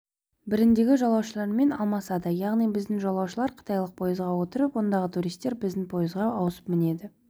біріндегі жолаушылармен алмасады яғни біздің жолаушылар қытайлық пойызға отырып ондағы туристер біздің пойызға ауысып мінеді